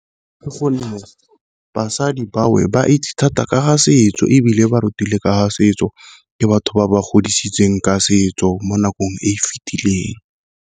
Ka gonne basadi ba ba itse thata ka setso, ebile ba rutile ka setso ke batho ba ba godisitsweng ka setso mo nakong e e fitileng.